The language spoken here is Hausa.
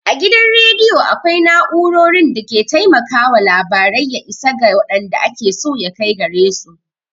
A gidan rediyo akwai na'urorin da ke taimakawa labarai ya isa ga waɗanda ake so ya kai gare su.